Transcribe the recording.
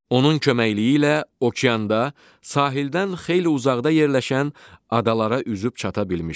Onun köməkliyi ilə okeanda sahildən xeyli uzaqda yerləşən adalara üzüb çata bilmişdir.